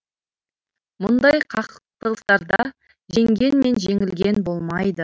мұндай қақтығыстарда жеңген мен жеңілген болмайды